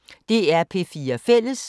DR P4 Fælles